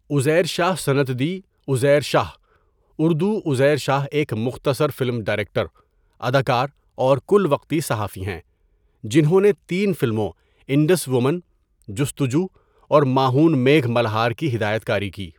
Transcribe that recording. عزیر شاہ سنڌی عزیر شاہ، اردو عزیر شاہ ایک مختصر film director, اداکار اور کل وقتی صحافی ہیں، جنہوں نے تین فلموں انڈس وومن ، جستجو اور مانہون میگھ ملہار کی ہدایت کاری کی.